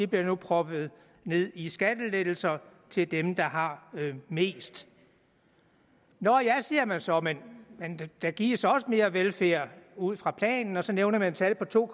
bliver proppet ned i skattelettelser til dem der har mest nå ja siger man så men der gives også mere velfærd ud fra planen og så nævner man tal på to